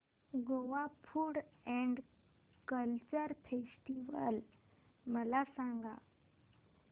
Goa food and culture festival मला सांगा